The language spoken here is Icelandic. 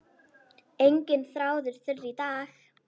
Enginn þráður þurr í dag.